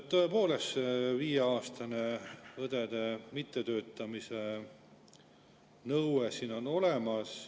Tõepoolest, see viieaastase mittetöötamise nõue on siin õdedel olemas.